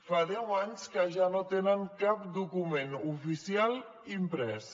fa deu anys que ja no tenen cap document oficial imprès